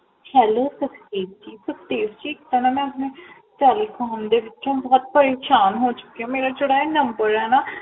Hello Sukhdev ji Sukhdev ji ਮੈ ਆਪਣੇ Telecom ਦੇ ਵਿੱਚੋਂ ਬਹੁਤ ਪਰੇਸ਼ਾਨ ਹੋ ਚੁਕੀ ਹਾਂ ਮੇਰਾ ਜੇਹੜਾ ਇਹ ਨੰਬਰ ਹੈ ਨਾ